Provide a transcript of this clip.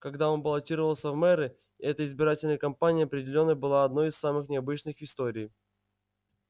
когда он баллотировался в мэры эта избирательная кампания определённо была одной из самых необычных в истории